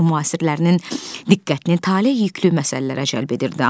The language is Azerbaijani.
Müasirlərinin diqqətini taleyüklü məsələlərə cəlb edirdi.